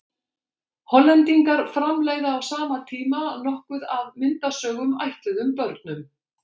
Hollendingar framleiða á sama tíma nokkuð af myndasögum ætluðum börnum.